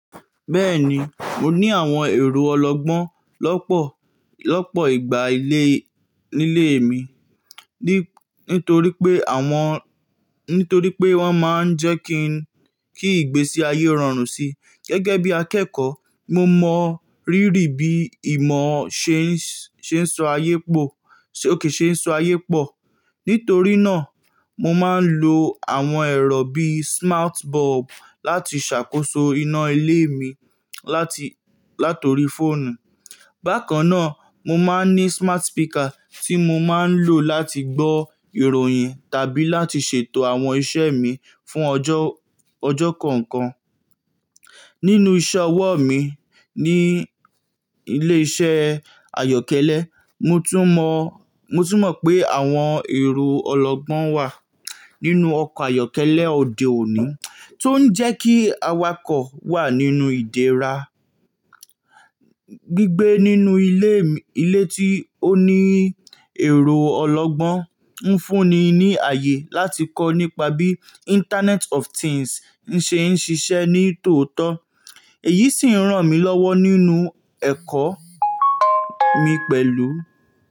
Bẹ́ẹ̀ni, mo ní àwọn ẹ̀ro ọlọgbọ́n lọ́pọ̀, lọ́pọ̀ ìgbà nílé mi. Nítorí pé wọ́n máa ń jẹ́ kí ìgbésí ayé rọrùn síi. Gẹ́gẹ́ bí akẹ́kọ̀ọ́, mo mọ rírì bí ìmọ̀ ṣe ń sọ ayé pọ̀. Nítorí náà, mo máa ń lo àwọn ẹ̀rọ bí i smart bulb láti ṣàkóso iná ilé mi láti orí fóònù. Bákan náà, mo máa ń ní smart speaker tí mo máa ń lò láti gbọ́ ìròyìn tàbí láti ṣètò àwọn iṣẹ́ mi fún ọjọ́ kọ̀ọ̀kan. Nínú iṣẹ́ ọwọ́ mi ní ilé-iṣẹ́ àyọ́kẹ́lẹ́, mo tún mọ pé àwọn ẹ̀ro ọlọgbọ́n wà nínú ọkọ̀ ayọ́kẹ́lẹ́ òde òní tó ń jẹ́ kí awakọ̀ wà nínú ìdéra. Gbigbe nínú ilé tí ó ní ẹ̀rọ ọlọgbọ́n ń fúnni ní ààyè láti kọ́ nípa bí Internet of Things n ṣe ń ṣiṣẹ́ ní tòótọ́. Èyí sì ń ràn mí lọ́wọ́ nínú ẹ̀kọ́ mi pẹ̀lú.